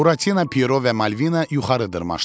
Buratino, Piero və Malvina yuxarı dırmaşdılar.